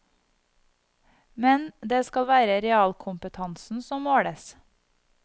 Men det skal være realkompetansen som måles.